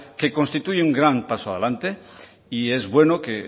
que constituye un gran paso adelante y es bueno que